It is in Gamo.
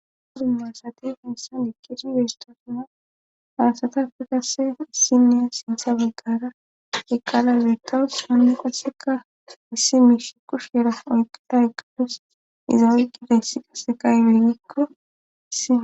Dummu asate fensan dikisi bestasuna faasata fi qase issinniya sintha baggara eqqala beekawus hanne qaseka hissi miish kushhera oyqata eqqadus iza oyqqida hissi qaseqaybelgikko issi.